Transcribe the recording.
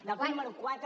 del punt número quatre